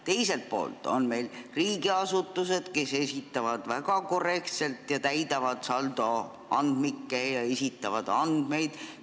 Teiselt poolt on meil riigiasutused, kes täidavad saldoandmikke ja esitavad väga korrektselt andmeid.